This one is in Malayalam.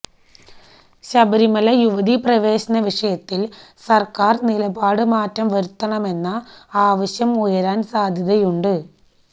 ശബരിമല യുവതി പ്രവേശന വിഷയത്തില് സര്ക്കാര് നിലപാടില് മാറ്റം വരുത്തണമെന്ന ആവശ്യം ഉയരാന് സാധ്യതയുണ്ട്